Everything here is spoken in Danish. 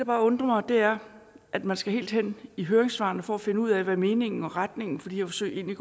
bare undrer mig er at man skal helt hen i høringssvarene for at finde ud af hvad meningen med og retningen for de her forsøg egentlig